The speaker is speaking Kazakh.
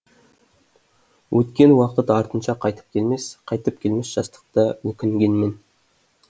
өткен уақыт артынша қайтып келмес қайтып келмес жастықта өкінгенмен